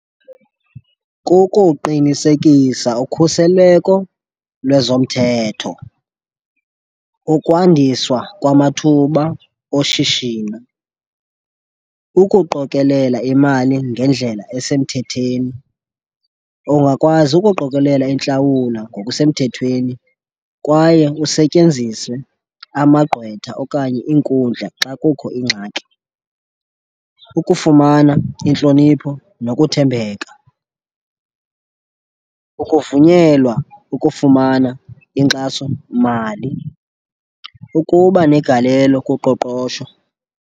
Kukuqinisekisa ukhuseleko lwezomthetho, ukwandiswa kwamathuba oshishino, ukuqokelela imali ngendlela esemthetheni, ungakwazi ukuqokelela intlawula ngokusemthethweni kwaye kusetyenziswe amagqwetha okanye iinkundla xa kukho ingxaki, ukufumana intlonipho nokuthembeka, ukuvunyelwa ukufumana inkxasomali, ukuba negalelo kuqoqosho.